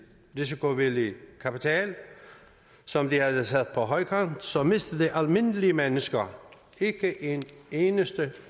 risikovillig kapital som de havde sat på højkant så mistede de almindelige mennesker ikke en eneste